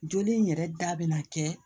Joli in yɛrɛ da bɛ na kɛ